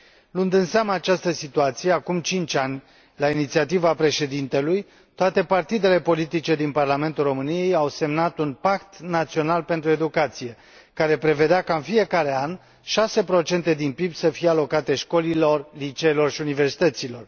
Luând în seamă această situație, acum cinci ani, la inițiativa președintelui, toate partidele politice din Parlamentul României au semnat un Pact Național pentru Educație, care prevedea ca, în fiecare an, 6 procente din PIB să fie alocate școlilor, liceelor și universităților.